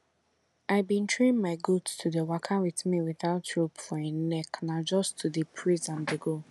i bin train my goat to dey waka with me without rope for em neck na just to dey praise am dey go